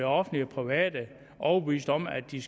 offentlige og private overbevist om at de